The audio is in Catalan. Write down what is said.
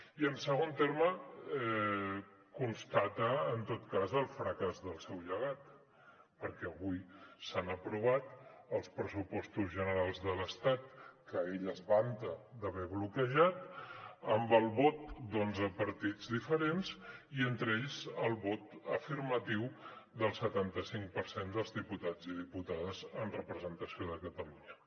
i en segon terme constata en tot cas el fracàs del seu llegat perquè avui s’han aprovat els pressupostos generals de l’estat que ell es vanta d’haver bloquejat amb el vot d’onze partits diferents i entre ells el vot afirmatiu del setanta cinc per cent dels diputats i diputades en representació de catalunya